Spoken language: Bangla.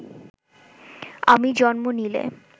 আমি জন্ম নিলে